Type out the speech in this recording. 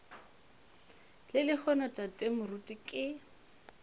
le lehono tate moruti ke